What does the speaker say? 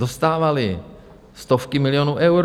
Dostávaly stovky milionů euro.